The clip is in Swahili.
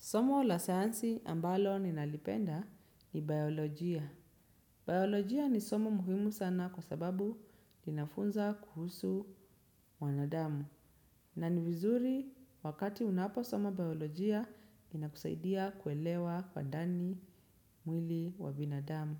Somo la sayansi ambalo ninalipenda ni biolojia. Biolojia ni somo muhimu sana kwa sababu linafunza kuhusu wanadamu. Na ni vizuri wakati unapo soma biolojia inakusaidia kuelewa kwa ndani mwili wa binadamu.